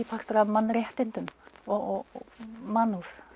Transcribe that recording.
partur af mannréttindum og mannúð